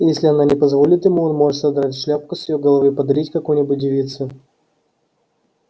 если она не позволит ему он может содрать шляпку с её головы и подарить какой-нибудь девице